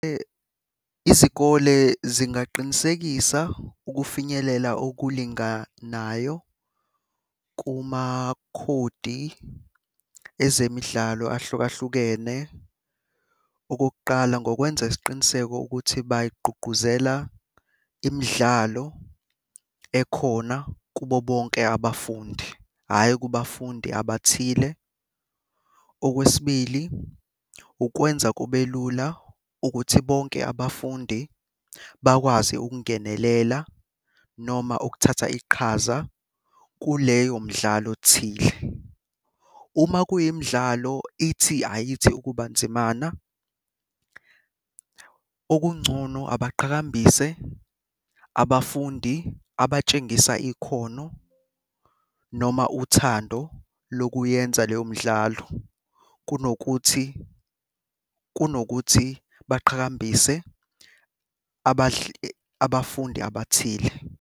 Izikole zingaqinisekisa ukufinyelela okulinganayo kumakhodi ezemidlalo ahlukahlukene. Okokuqala, ngokwenza isiqiniseko ukuthi bayigqugquzela imidlalo ekhona kubo bonke abafundi, hhayi kubafundi abathile. Okwesibili, ukwenza kube lula ukuthi bonke abafundi bakwazi ukungenelela noma ukuthatha iqhaza kuleyo mdlalo thile. Uma kuyimidlalo ithi ayithi ukuba nzimana, okungcono abaqhakambise abafundi abatshengisa ikhono noma uthando lokuyenza leyo midlalo, kunokuthi kunokuthi baqhakambise abafundi abathile.